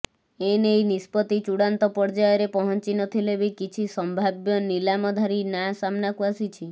ଏ ନେଇ ନିଷ୍ପତ୍ତି ଚୂଡାନ୍ତ ପର୍ଯ୍ୟାୟରେ ପହଂଚିନଥିଲେ ବି କିଛି ସମ୍ଭାବ୍ୟ ନିଲାମଧାରୀ ନାଁ ସାମ୍ନାକୁ ଆସିଛି